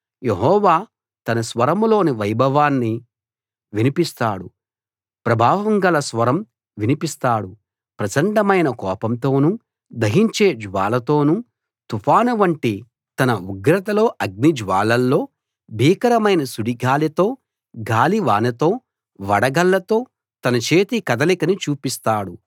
యెహోవా తన స్వరంలోని వైభవాన్ని వినిపిస్తాడు ప్రభావంగల స్వరం వినిపిస్తాడు ప్రచండమైన కోపంతోను దహించే జ్వాలతోను తుఫాను వంటి తన ఉగ్రతలో అగ్ని జ్వాలల్లో భీకరమైన సుడిగాలితో గాలి వానతో వడగళ్ళతో తన చేతి కదలికను చూపిస్తాడు